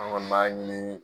Anw kɔni b'a ɲini